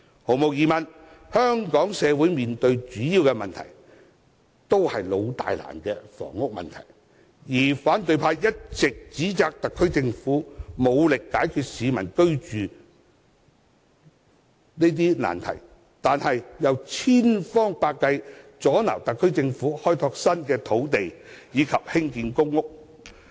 毫無疑問，香港社會面對的主要問題，是"老大難"的房屋問題，而反對派一直指摘特區政府無力解決市民居住難題，但又千方百計阻撓特區政府開拓新的土地及興建公屋。